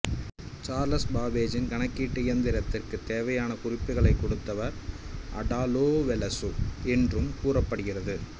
Charles பாப்பேச்சின் கனக்கீட்டு இயந்திரத்திற்குத் தேவையான குறிப்புகளைக் கொடுத்தவர் அடா லோவெலசு என்றும் கூறப்படுகிறது